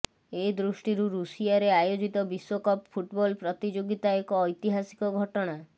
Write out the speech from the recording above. ଏ ଦୃଷ୍ଟିରୁ ରୁଷିଆରେ ଆୟୋଜିତ ବିଶ୍ବକପ୍ ଫୁଟବଲ୍ ପ୍ରତିଯୋଗିତା ଏକ ଐତିହାସିକ ଘଟଣା